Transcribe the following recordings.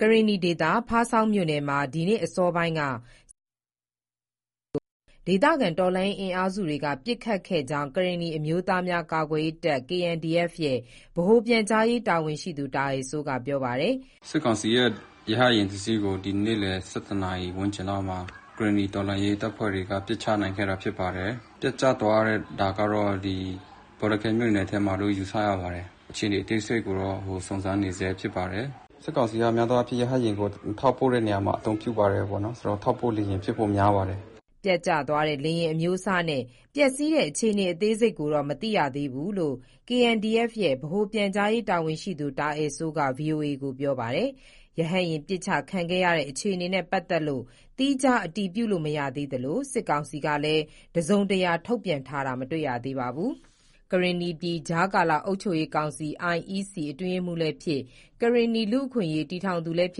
ကရင်နီဒေသ ဖားဆောင်းမြို့နယ်မှာ ဒီနေ့အစောပိုင်းက စစ်ကောင်စီရဟတ်ယာဉ် တစ်စီးကို ဒေသခံ တော်လှန်ရေး အင်အားစုတွေက ပစ်ခတ်ခဲ့ကြောင်း ကရင်နီအမျိုးသားများကာကွယ်ရေးတပ် (KNDF) ရဲ့ ဗဟိုပြန်ကြားရေးတာဝန်ရှိသူ တာအယ်စိုးက ပြောပါတယ်။ “စစ်ကောင်စီရဲ့ ရဟတ်ယာဉ်တစ်စီးကို ဒီနေ့ ၁၁ နာရီဝန်းကျင်လောက်မှာ ကရင်နီတော်လှန်းရေတပ်ဖွဲ့တွေက ပစ်ချနိုင်ခဲ့တာဖြစ်ပါတယ်။ ပျက်ကျသွားတဲ့ နေရာကတော့ ဘောလခဲမြို့နယ်ထဲမှာတော့ ယူဆရပါတယ်။ အခြေအနေ အသေးစိတ်ကိုတော့ စုံစမ်းနေဆဲဖြစ်ပါတယ်။ စစ်ကောင်စီက များသောအားဖြင့် ရဟတ်ယာဉ်ကို ထောက်ပို့တဲ့နေရာမှာ အသုံးပြုပါတယ်ပေါ့နော်၊ ဆိုတော့ ထောက်ပို့လေယာဉ်ဖြစ်ဖို့ များပါတယ်။” ပျက်ကျသွားတဲ့ လေယာဉ်အမျိုးအစားနဲ့ ပျက်စီးတဲ့အခြေအနေအသေးစိတ်ကိုတော့ မသိရသေးဘူးလို့ KNDF ရဲ့ ဗဟိုပြန်ကြားရေးတာဝန်ရှိသူ တာအယ်စိုးက ဗွီအိုအေကို ပြောပါတယ်။ ရဟတ်ယာဉ်ပစ်ချခံရတဲ့ အခြေအနေနဲ့ ပတ်သက်လို့ သီးခြားအတည်ပြုလို့ မရသေးသလို၊ စစ်ကောင်စီက တစုံတရာ ထုတ်ပြန်တာလည်း မတွေ့ရသေးပါဘူး။ ကရင်နီပြည်ကြားကာလအုပ်ချုပ်ရေးကောင်စီ (IEC) အတွင်းရေးမှူးလည်းဖြစ် ကရင်နီလူ့အခွင့်အရေးတည်ထောင်သူလည်းဖြ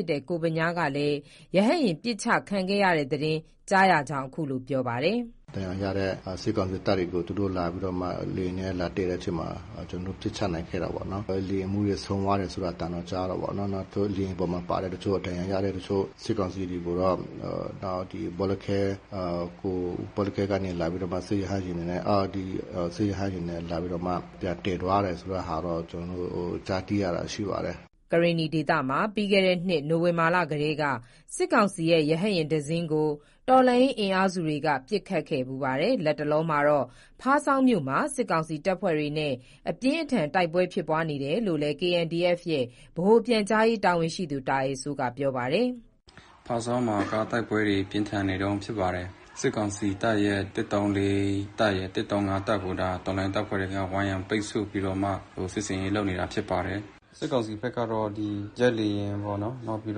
စ်တဲ့ ကိုဗညား ကလည်း ရဟတ်ယာဉ် ပစ်ချခံခဲ့ရတဲ့သတင်း ကြားရကြောင်း အခုလို ပြောပါတယ်။ “ဒဏ်ရာရတဲ့ စစ်ကောင်စီတပ်တွေကို သူတို့လာပြီးတော့မှ လေယာဉ်နဲ့လာသယ်တဲ့အချိန်မှာ ကျနော်တို့ ပစ်ချနိုင်ခဲ့တာပေါ့နော်။ လေယာဉ်မှူးဆုံးသွားတယ်ဆိုတဲ့အသံတော့ ကြားတာပေါ့၊ နောက်သူတို့လေယာဉ်ပေါ်မှာ ပါတဲ့ တချို့ ဒဏ်ရာရတဲ့တချို့ ၊ စစ်ကောင်စီတွေကိုတော့ ဘောလခဲကနေလာပြီးတော့မှ စစ်ရဟတ်ယာဉ်တွေနဲ့ လာပြီးတော့မှ ပြန်သယ်သွားတာ ဆိုတဲ့ဟာတော့ ကျနော်တို့ ကြားသိရတာရှိပါတယ်။” ကရင်နီဒေသမှာ ပြီးခဲ့တဲ့နှစ် နိုဝင်ဘာလကလည်း စစ်ကာင်စီရဲ့ ရဟတ်ယာဉ် တစင်းကို တော်လှန်ရေး အင်အားစုတွက ပစ်ခတ်ခဲ့ဖူးပါတယ်။ လတ်တလောမှာတော့ ဖားဆောင်းမြို့မှာ စစ်ကောင်စီတပ်ဖွဲ့တွေနဲ့ တိုက်ပွဲအပြင်းအထန် ဖြစ်ပွားနေတယ်လို့လည်း KNDF ရဲ့ ဗဟိုပြန်ကြားရေးတာဝန်ရှိသူ တာအယ်စိုးက ပြောပါတယ်။ “ဖားဆောင်းမှာက တိုက်ပွဲတွေပြင်းထန်နေတုန်းဖြစ်ပါတယ်။ စစ်ကောင်စီတပ်ရဲ့ ၁၃၄ တပ်ရယ် ၁၃၅ တပ်ကို ဒါ တော်လှန်ရေးတပ်ဖွဲ့တွေ ဝန်ရံပိတ်ဆို့ပြီးတော့မှ စစ်ဆင်းရေးလုပ်နေတာဖြစ်ပါတယ်။ စစ်ကောင်စီဘက်ကတော့ ဒီဂျက်လေယာဉ်ပေါ့နော် နောက်ပြီး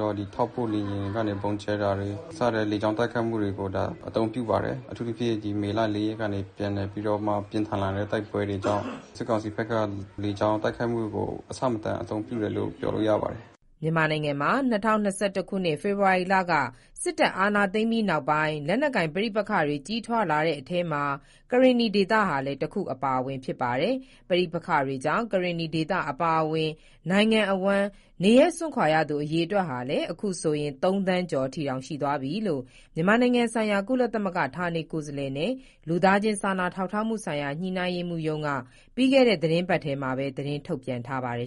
တော့ ထောက်ပို့လေယာဉ်ကနေ ဗုံးကြဲတာတွေ စတဲ့ လေကြောင်းတိုက်ခိုက်မှုတွေကို ဒါအသုံးပြုပါတယ်။ အထူးသဖြင့် ဒီမေလ ၄ရက်ကနေ ပြန်လည်ပြီးတော့မှ ပြင်းထန်လာတဲ့ တိုက်ပွဲတွေကြောင့် စစ်ကောင်စီဘက်က လေကြောင်းတိုက်ခိုက်မှုကို အဆမတန်အသုံးပြုတယ်လို့ ပြောလို့ရပါတယ်။” မြန်မာနိုင်ငံမှာ ၂၀၂၁ ခုနှစ် ဖေဖော်ဝါရီလ စစ်တပ်က အာဏာသိမ်းပြီးနောက်ပိုင်း လက်နက်ကိုင် ပဋိပက္ခတွေ ကြီးထွားလာတဲ့ အထဲမှာ ကရင်နီဒေသဟာလည်း တခုအပါအဝင် ဖြစ်ပါတယ်။ ပဋိပက္ခတွေကြောင့် ကရင်နီဒေသ အပါအဝင် နိုင်ငံအဝန်း နေရပ်စွန့်ခွာရသူ အရေအတွက်ဟာလည်း အခုဆိုရင် ၃ သန်းကျော်အထိ ရှိသွားပြီလို့ မြန်မာနိုင်ငံဆိုင်ရာ ကုလသမဂ္ဂ ဌာနေကိုယ်စားလှယ်နဲ့ လူသားချင်းစာနာထောက်ထားမှုဆိုင်ရာ ညှိနှိုင်းရေးမှူးရုံးက ပြီးခဲ့တဲ့ သီတင်းပတ်ထဲမှာပဲ သတင်းထုတ်ပြန်ထားပါတယ်